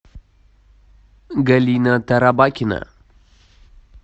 галина тарабакина